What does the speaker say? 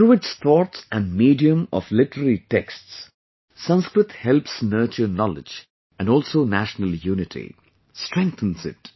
Through its thoughts and medium of literary texts, Sanskrit helps nurture knowledge and also national unity, strengthens it